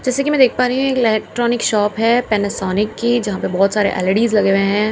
जैसा की मैं देख पा रही हूं एक इलेक्ट्रॉनिक शॉप है पैनासोनिक की जहां पे बहोत सारे एल_ई_डी लगे हुए हैं।